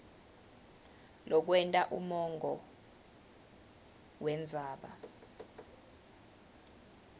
lokwenta umongo wendzaba